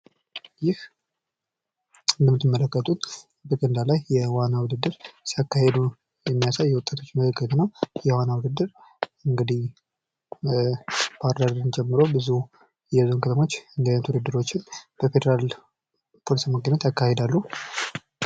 ይህ እንደምትመለከቱት በገንዳ ላይ የዋና ውድድር ሲያካሂድ የሚያሳይ ወጣቶች ምልክት ነው። ይህ የዋና ውድድር እንግዲህ ባህር ዳርን ጨምሮ ብዙ የክልል ክለቦች በፌደራል እንደዚህ አይነት ውድድሮችን ያካሂዳሉ።